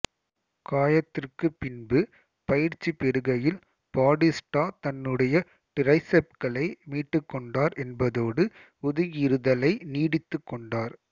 காயத்திற்கு பின்பு பயிற்சி பெறுகையில் பாடிஸ்டா தன்னுடைய டிரைசெப்களை மீட்டுக்கொண்டார் என்பதோடு ஒதுங்கியிருத்தலை நீட்டித்துக்கொண்டார்